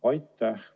Aitäh!